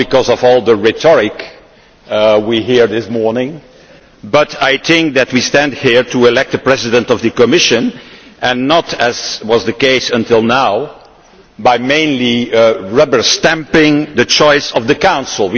Not because of all the rhetoric we have heard this morning, but because we stand here to elect the President of the Commission and not, as was the case until now, by mainly rubber stamping the choice of the Council.